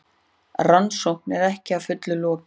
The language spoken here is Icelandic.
Rannsókn er ekki að fullu lokið